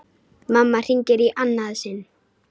Mamma hringir í annað sinn.